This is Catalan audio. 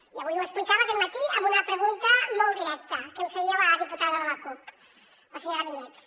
i avui ho explicava aquest matí amb una pregunta molt directa que em feia la diputada de la cup la senyora vinyets